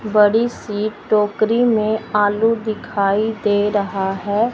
बड़ी सी टोकरी में आलू दिखाई दे रहा है।